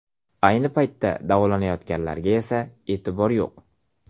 Ayni paytda davolanayotganlarga esa e’tibor yo‘q.